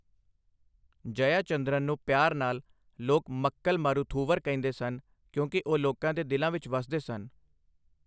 ਜਯਾ ਚੰਦਰਨ ਨੂੰ ਪਿਆਰ ਨਾਲ ਲੋਕ ਮੱਕਲ ਮਾਰੂਥੂਵਰ ਕਹਿੰਦੇ ਸਨ, ਕਿਉਂਕਿ ਉਹ ਲੋਕਾਂ ਦੇ ਦਿਲਾਂ ਵਿੱਚ ਵਸਦੇ ਸਨ।